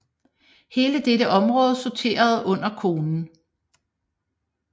Hele dette område sorterede under konen